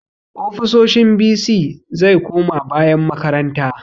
Ofisoshin bc zai koma bayan makaranta